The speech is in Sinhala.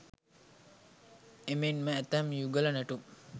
එමෙන්ම ඇතැම් යුගල නැටුම්